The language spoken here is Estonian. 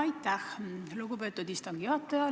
Aitäh, lugupeetud istungi juhataja!